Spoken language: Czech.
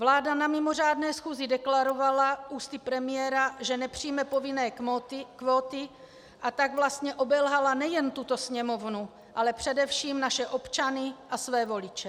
Vláda na mimořádné schůzi deklarovala ústy premiéra, že nepřijme povinné kvóty, a tak vlastně obelhala nejen tuto Sněmovnu, ale především naše občany a své voliče.